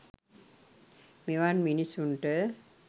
මෙවන් මිනිසුන්ට